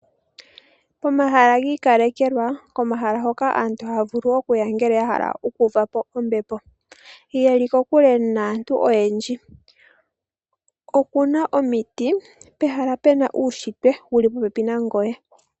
Omahala giikalekelwa , komahala hoko aantu haavulu okuya ngele yahala okuuvapo ombepo, yeli kokule naantu oyendji. Okuna omiti , pehala puna uushitwe wuli popepi nangoye .